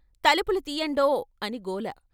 "తలుపులు తియ్యండో" అని గోల.